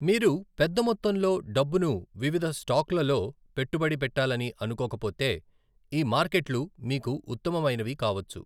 మీరు పెద్ద మొత్తంలో డబ్బును వివిధ స్టాక్లలో పెట్టుబడి పెట్టాలని అనుకోకపోతే, ఈ మార్కెట్లు మీకు ఉత్తమమైనవి కావచ్చు.